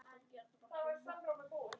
og stúlkan stígur dansinn